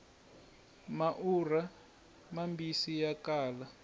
maurha mambisi ya kala